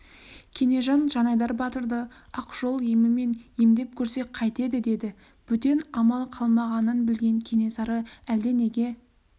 кенежан жанайдар батырды ақ жол емімен емдеп көрсек қайтеді деді бөтен амал қалмағанын білген кенесары әлденеге